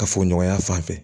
Ka fɔ ɲɔgɔnya fan fɛ